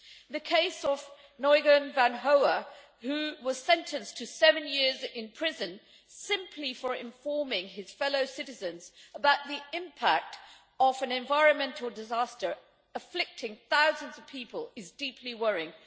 The case of Nguyen Van Hoa, who was sentenced to seven years in prison simply for informing his fellow citizens about the impact of an environmental disaster afflicting thousands of people, is deeply worrying.